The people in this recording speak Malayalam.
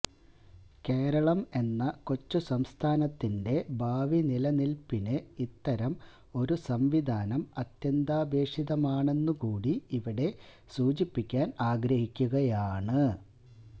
കേരളം എന്ന കൊച്ചുസംസ്ഥാനത്തിന്റെ ഭാവി നിലനില്പിന് ഇത്തരം ഒരു സംവിധാനം അത്യാന്താപേക്ഷിതമാണെന്നുകൂടി ഇവിടെ സൂചിപ്പിക്കാന് ആഗ്രഹിക്കുകയാണ്